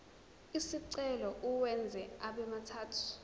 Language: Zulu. lesicelo uwenze abemathathu